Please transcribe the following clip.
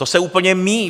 To se úplně míjí.